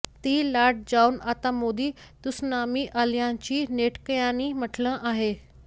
ती लाट जाऊन आता मोदी त्सुनामी आल्याचंही नेटकऱ्यांनी म्हटलं आहे